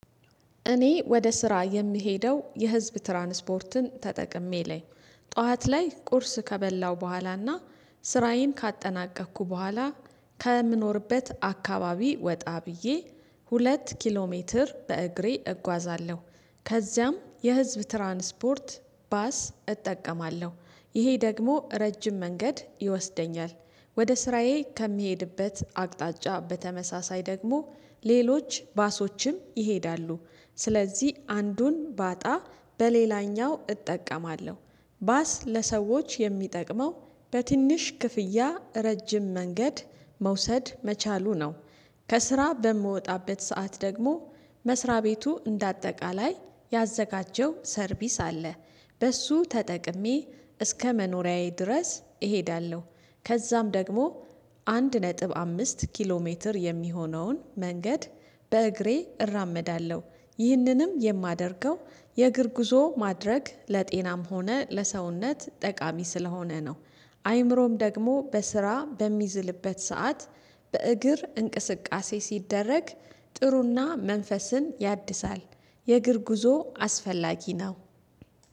እኔ ወደ ስራ የምሄደው የህዝብ ትራንስፖርትን ተጠቅሜ ላይ ጠዋት ላይ ቁርስ ከበላው በኋላና ስራዬን ካጠናቀኩ በኋላ ከምኖርበት አካባቢ ወጣ ብዬ ሁለት ኪሎ ሜትር በእግሬ እጓዛለሁ ከዚያም የህዝብ ትራንስፖርት ባስ እጠቀማለሁ ይሄ ደግሞ ረጅም መንገድ ይወስደኛል ወደ ስራዬ ከሚሄድበት አቅጣጫ በተመሳሳይ ደግሞ ሌሎች ባሶችም ይሄዳሉ ስለዚህ አንዱን ባጣ በሌላኛው እጠቀማለሁ ባስ ለሰዎች የሚጠቅመው በትንሽ ክፍያ ረጅም መንገድ መውሰድ መቻሉ ነው። ከስራ በምወጣበት ሰዓት ደግሞ መስሪያ ቤቱ እንደ አጠቃላይ ያዘጋጀው ሰርቪስ አለ። በሱ ተጠቅሜ እስከ መኖሪያዬ ድረስ እሄዳለሁ ከዛም ደግሞ አንድ ነጥብ አምስት ኪሎ ሜትር የሚሆነውን መንገድ በእግሬ እራመዳለሁ። ይህንንም የማደርገው የእግር ጉዞ ማድረግ ለጤናም ሆነ ለሰውነት ጠቃሚ ስለሆነ ነው። አይምሮም ደግሞ በስራ በሚዝልበት ሰዓት በእግር እንቅስቃሴ ሲደረግ ጥሩና መንፈስን ያድሳል። የእግር ጉዞ አስፈላጊ ነው